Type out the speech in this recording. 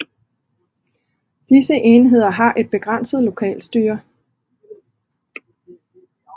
Disse enheder har et begrænset lokalstyre